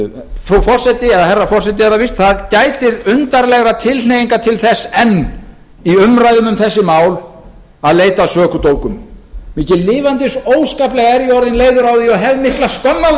fara niður herra forseti það gætir undarlegra tilhneiginga til þess enn í umræðum um þessi mál að leita að sökudólgum mikið lifandis óskaplega er ég orðinn leiður á því og hef mikla skömm á